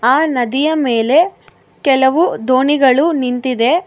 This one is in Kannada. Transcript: ಆ ನದಿಯ ಮೇಲೆ ಕೆಲವು ದೋಣಿಗಳು ನಿಂತಿದೆ.